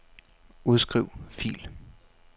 Udskriv fil.